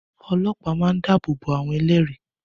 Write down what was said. Ọlọ́pàá máa ń dábòbò àwọn ẹlẹ́rìí